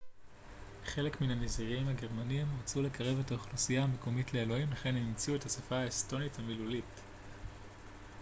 חלק מן הנזירים הגרמנים רצו לקרב את האוכלוסייה המקומית לאלוהים לכן הם המציאו את השפה האסטונית המילולית